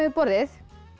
borðið